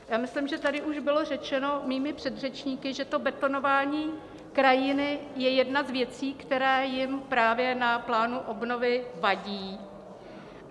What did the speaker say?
Já myslím, že tady už bylo řečeno mými předřečníky, že to betonování krajiny je jedna z věcí, která jim právě na plánu obnovy vadí.